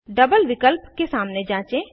double विकल्प के सामने जाँचें